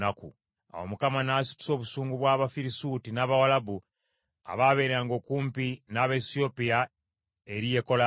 Awo Mukama n’asitusa obusungu bw’Abafirisuuti n’Abawalabu abaabeeranga okumpi n’Abaesiyopiya eri Yekolaamu,